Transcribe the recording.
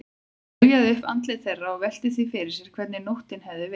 Hún rifjaði upp andlit þeirra og velti því fyrir sér hvernig nóttin hefði verið.